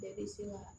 Bɛɛ bɛ se ka